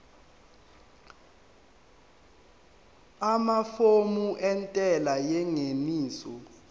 amafomu entela yengeniso